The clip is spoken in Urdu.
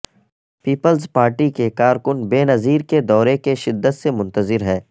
پیپلز پارٹی کے کارکن بینظیر کے دورے کے شدت سے منتظر ہیں